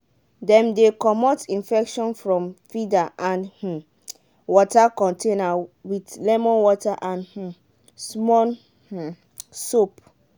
dem dey comot infection from feeder and um water container with lemon water and um small um soap.